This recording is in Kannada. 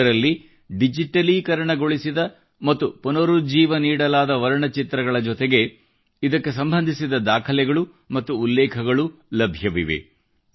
ಇದರಲ್ಲಿ ಡಿಜಿಟಲೀಕರಣಗೊಳಿಸಿದ ಮತ್ತು ಪುನರುಜ್ಜೀವ ನೀಡಲಾದ ವರ್ಣಚಿತ್ರಗಳ ಜೊತೆಗೆ ಇದಕ್ಕೆ ಸಂಬಂಧಿಸಿದ ದಾಖಲೆಗಳು ಮತ್ತು ಉಲ್ಲೇಖಗಳು ಲಭ್ಯವಿವೆ